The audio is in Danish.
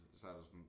Så er der sådan